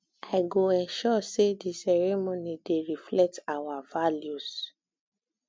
i go ensure say di ceremony dey reflect our values